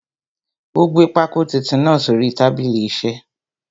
Ó gbé pákó titun náà sórí tábìlì isẹ́.